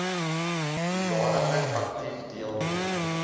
hoedanigheid aktief deelneem